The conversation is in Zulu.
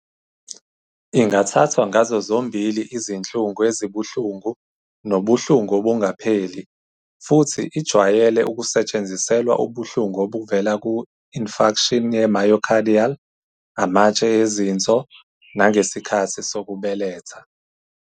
Ingathathwa ngazo zombili izinhlungu ezibuhlungu nobuhlungu obungapheli futhi ijwayele ukusetshenziselwa ubuhlungu obuvela ku- infarction ye-myocardial, amatshe ezinso, nangesikhathi sokubeletha.